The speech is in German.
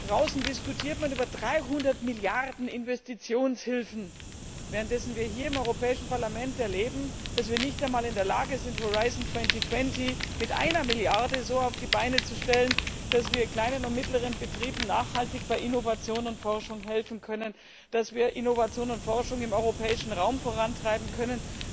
Draußen diskutiert man über 300 Milliarden Investitionshilfen, währenddessen wir hier im Europäischen Parlament erleben, dass wir nicht einmal in der Lage sind, Horizon 2020 mit einer Milliarde so auf die Beine zu stellen, dass wir kleinen und mittleren Betrieben nachhaltig bei Innovation und Forschung helfen können, dass wir Innovation und Forschung im europäischen Raum vorantreiben können.